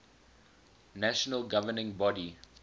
national governing body